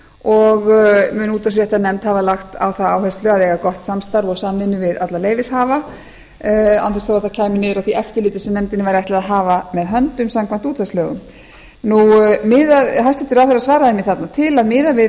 og mun útvarpsréttarnefnd hafa lagt á það áherslu að eiga gott samstarf og samvinnu við alla leyfishafa án þess þó að þetta kæmi niður á því eftirliti sem nefndinni væri ætlað að hafa með höndum samkvæmt útvarpslögum hæstvirtur ráðherra svaraði mér þarna til að miðað væri